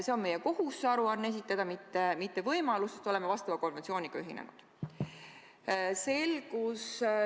See on meie kohus see aruanne esitada, mitte võimalus, sest oleme vastava konventsiooniga ühinenud.